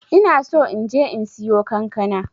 ina so inje in siyo kankana.